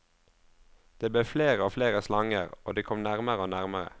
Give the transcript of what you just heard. Det ble flere og flere slanger, og de kom nærmere og nærmere.